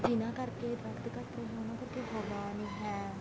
ਜਿਨ੍ਹਾ ਕਰਕੇ ਦਰਖਤ ਘੱਟ ਰਹੇ ਹਾਂ ਉਹਨਾ ਕਰਕੇ ਹਵਾ ਨੀ ਹੈ